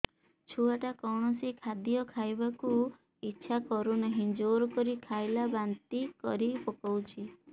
ଛୁଆ ଟା କୌଣସି ଖଦୀୟ ଖାଇବାକୁ ଈଛା କରୁନାହିଁ ଜୋର କରି ଖାଇଲା ବାନ୍ତି କରି ପକଉଛି